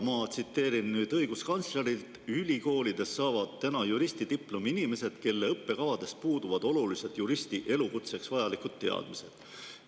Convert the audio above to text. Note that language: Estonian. Ma tsiteerin õiguskantslerit: "Ülikoolides saavad täna juristidiplomi inimesed, kelle õppekavadest puuduvad olulised juristi elukutseks vajalikud teadmised.